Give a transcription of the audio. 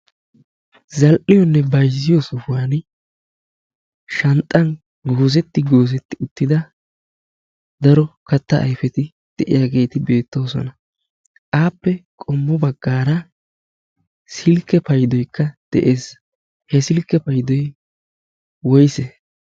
zal'''yoonne bayzziyo suhuwan shanxxan goozetti goozetti uttida daro katta ayfeti de'iyaageeti beettoosona aappe qommo baggaara silkke paydoykka de'ees he silkke paydoy woyse?